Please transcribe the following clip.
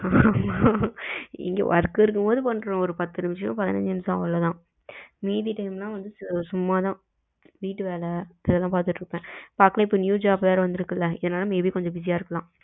ஆமா இங்க work இருக்கும் போது பண்றோம் ஒரு பத்து நிமிஷம் பதினச்சு நிமிஷம் அவ்ளோதான் மீதி டைம் எல்லாம் சும்மா தான் வீட்டு வேல அதன் பாத்துகிட்டு இருப்பேன், பாக்கலாம் இப்போ new job வேற வந்து இருக்குதுல்ல maybe busy இருக்கலாம்